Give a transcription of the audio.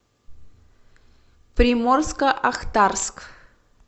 приморско ахтарск